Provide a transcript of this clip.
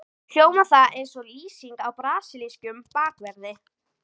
Hljómar það eins og lýsing á brasilískum bakverði?